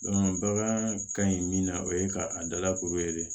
bagan ka ɲi min na o ye ka a dalakoro de